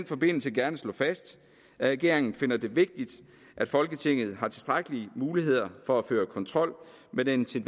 forbindelse gerne slå fast at regeringen finder det vigtigt at folketinget har tilstrækkelige muligheder for at føre kontrol med den til